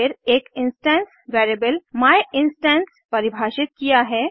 फिर एक instance variable my instance परिभाषित किया है